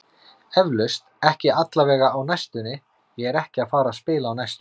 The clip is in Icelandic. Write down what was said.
Eflaust, ekki allavega á næstunni, ég er ekki að fara að spila á næstunni.